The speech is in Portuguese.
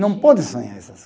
Não pode sonhar essas